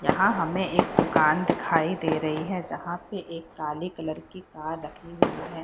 यहाँ हमें एक दुकान दिखाई दे रही है जहां पे एक काले कलर की कार रखी हुई है।